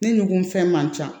Ni nugufɛn man ca